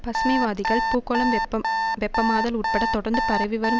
பசுமை வாதிகள் பூகோளம் வெப்பம் வெப்பமாதல் உட்பட தொடர்ந்து பரவிவரும்